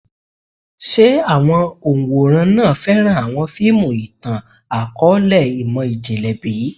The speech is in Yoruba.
Ṣe awọn òǹwòran náà fẹran awọn fiimu itan-akọọlẹ imọ-jinlẹ bi?